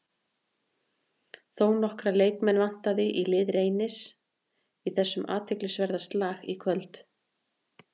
Þónokkra leikmenn vantar í lið Reynis í þessum athyglisverða slag í kvöld.